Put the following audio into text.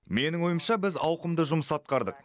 менің ойымша біз ауқымды жұмыс атқардық